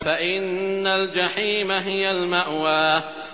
فَإِنَّ الْجَحِيمَ هِيَ الْمَأْوَىٰ